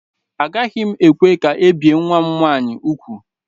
Agaghị m ekwe ka ebee nwa m nwaanyị ugwu.